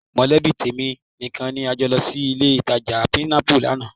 Mọ̀lẹ́bí tèmi nìkan ni a jọ lọ sí ilé-ìtajà Pinnacle lánàá